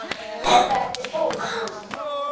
Er það eftir skóla?